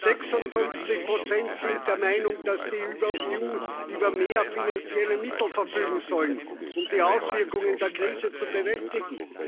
56 sind der Meinung, dass die EU über mehr finanzielle Mittel verfügen soll, um die Auswirkungen der Krise zu bewältigen.